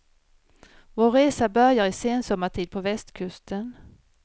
Vår resa börjar i sensommartid på västkusten.